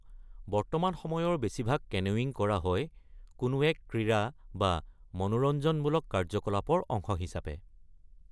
বৰ্তমান সময়ৰ বেছিভাগ কেনোয়িং কৰা হয় কোনো এক ক্ৰীড়া বা মনোৰঞ্জনমূলক কাৰ্যকলাপৰ অংশ হিচাপে ।